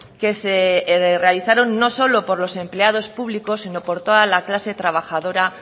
que se realizaron no solo por los empleados públicos sino por toda la clase trabajadora